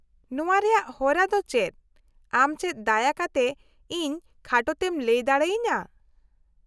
-ᱱᱚᱶᱟ ᱨᱮᱭᱟᱜ ᱦᱚᱨᱟ ᱫᱚ ᱪᱮᱫ, ᱟᱢ ᱪᱮᱫ ᱫᱟᱭᱟ ᱠᱟᱛᱮ ᱤᱧ ᱠᱷᱟᱴᱚᱛᱮᱢ ᱞᱟᱹᱭ ᱫᱟᱲᱮᱭᱟᱹᱧᱟᱹ ?